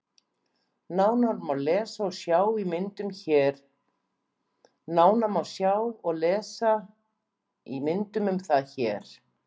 Nánar má lesa og sjá í myndum um það hér.